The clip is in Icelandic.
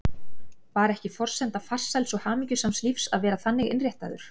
Var ekki forsenda farsæls og hamingjusams lífs að vera þannig innréttaður?